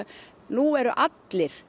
nú eru allir